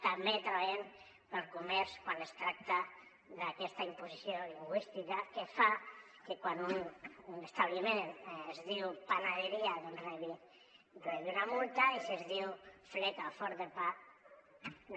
també treballem pel comerç quan es tracta d’aquesta imposició lingüística que fa que quan un establiment es diu panadería rebi una multa i si es diu fleca o forn de pa no